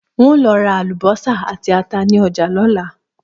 N óò lo̩ ra àlùbó̩sà àti ata ní o̩jà ló̩la